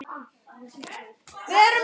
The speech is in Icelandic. Því hafnaði hann.